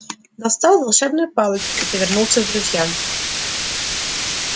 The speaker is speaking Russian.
достал волшебную палочку и повернулся к друзьям